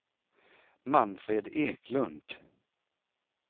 Manfred Eklund